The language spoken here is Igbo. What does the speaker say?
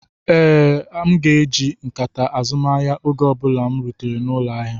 Ee, m ga-eji nkata azumahia oge ọ bụla m rutere n'ụlọ ahịa.